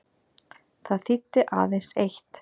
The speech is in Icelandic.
Það þýddi aðeins eitt.